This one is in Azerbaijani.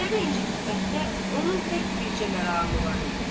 Zeynəbi incitməkdə onun tək bircə məramı var idi.